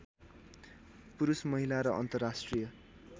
पुरुष महिला र अन्तर्राष्ट्रिय